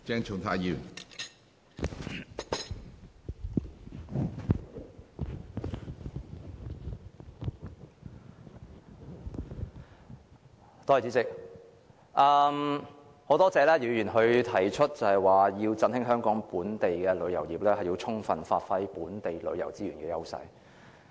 主席，我很感謝姚議員提出，為振興香港本地旅遊業，政府應充分發揮本地旅遊資源的優勢。